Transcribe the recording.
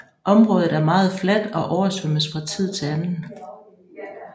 Området er meget fladt og oversvømmes fra tid til anden